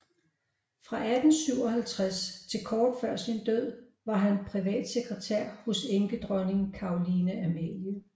Fra 1857 til kort før sin død var han privatsekretær hos enkedronning Caroline Amalie